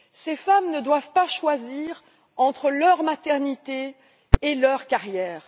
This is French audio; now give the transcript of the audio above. Ces femmes ne doivent pas choisir entre leur maternité et leur carrière.